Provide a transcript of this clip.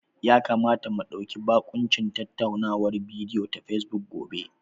Ya kamata mu ɗauki bakuncin tattaunawar bidiyo ta Fesbuk gobe.